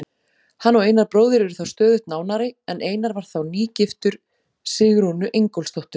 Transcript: Hann og Einar bróðir urðu stöðugt nánari en Einar var þá nýgiftur Sigrúnu Ingólfsdóttur.